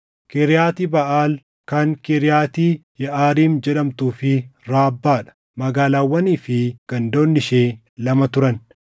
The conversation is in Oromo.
Kiriyaati Baʼaal kan Kiriyaati Yeʼaariim jedhamtuu fi Raabbaa dha; magaalaawwanii fi gandoonni ishee lama turan.